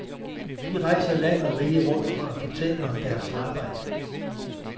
De rejser land og rige rundt for at fortælle om deres arbejde.